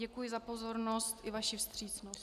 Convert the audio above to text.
Děkuji za pozornost i vaši vstřícnost.